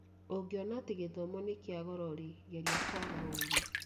Ũngĩona atĩ gĩthomo nĩ kĩa goro-rĩ, geria kwaga ũũgĩ